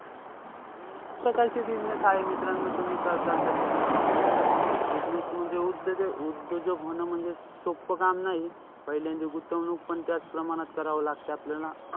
अनेक प्रकारचे business आहे मित्रांनो. तुम्ही करताल तशे business. Business म्हणजे उद्यो~ उद्योजक होणं म्हणजे सोप्प काम नाही. पहिल्यांदा गुंतवणूकपण त्याच प्रमाणात करावी लागते आपल्याला.